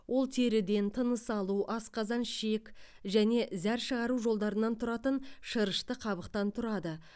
ол теріден тыныс алу асқазан ішек және зәр шығару жолдарынан тұратын шырышты қабықтан тұрады